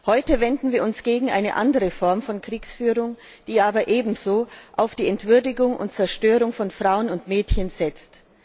Heute wenden wir uns gegen eine andere Form der Kriegsführung, die aber ebenso auf die Entwürdigung und Zerstörung von Frauen und Mädchen setzt.